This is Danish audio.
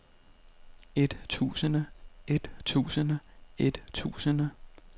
ettusinde ettusinde ettusinde